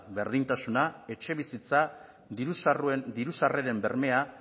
berdintasuna etxebizitza diru sarreren bermea